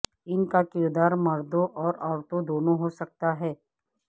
ان کا کردار مردوں اور عورتوں دونوں ہو سکتا ہے